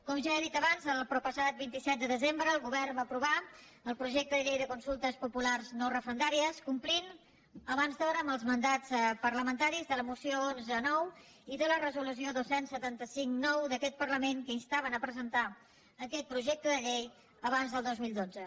com ja he dit abans el proppassat vint set de desembre el govern va aprovar el projecte de llei de consultes populars no referendàries complint abans d’hora amb els mandats parlamentaris de la moció onze ix i de la resolució dos cents i setanta cinc ix d’aquest parlament que instaven a presentar aquest projecte de llei abans del dos mil dotze